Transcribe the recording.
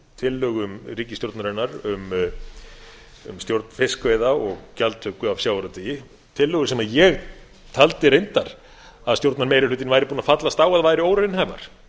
tillögum ríkisstjórnarinnar um stjórn fiskveiða og gjaldtöku af sjávarútvegi tillögu sem ég taldi reyndar að stjórnarmeirihlutinn væri búinn að fallast á að væru óraunhæfar